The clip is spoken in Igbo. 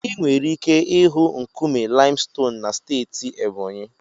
Ị nwere ike ịhụ nkume limestone na steeti Ebonyi.